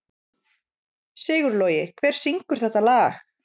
Sigurlogi, hver syngur þetta lag?